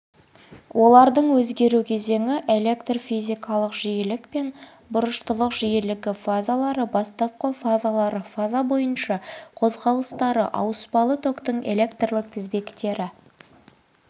олардың өзгеру кезеңі электрфизикалық жиілік пен бұрыштылық жиілігі фазалары бастапқы фазалары фаза бойынша қозғалыстары ауыспалы токтың электрлік тізбектері